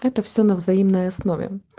это все на взаимной основе